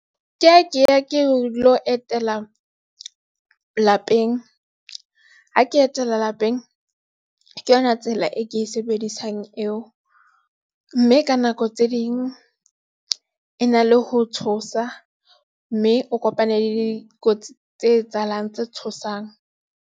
Ke lo etela lapeng ha ke etela lapeng, ke yona tsela e ke e sebedisang eo, mme ka nako tse ding e na le ho tshosa mme o kopane le dikotsi tse etsahalang tse tshosang.